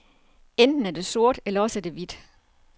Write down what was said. Enten er det sort, eller også er det hvidt.